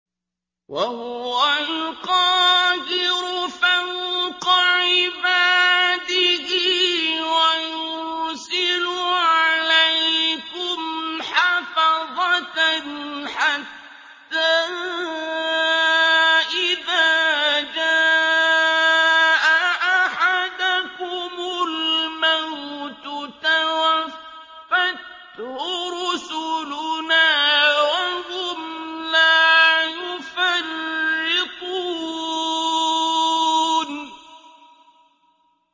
وَهُوَ الْقَاهِرُ فَوْقَ عِبَادِهِ ۖ وَيُرْسِلُ عَلَيْكُمْ حَفَظَةً حَتَّىٰ إِذَا جَاءَ أَحَدَكُمُ الْمَوْتُ تَوَفَّتْهُ رُسُلُنَا وَهُمْ لَا يُفَرِّطُونَ